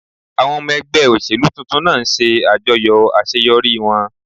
Àwọn ọmọ ẹgbẹ́ òṣèlú tuntun náà ń ṣe àjọyọ̀ àṣeyọrí wọn